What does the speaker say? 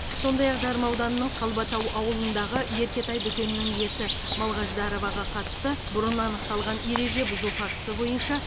сондай ақ жарма ауданының қалбатау ауылындағы еркетай дүкенінің иесі малғаждароваға қатысты бұрын анықталған ереже бұзу фактісі бойынша